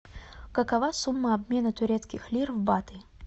какова сумма обмена турецких лир в баты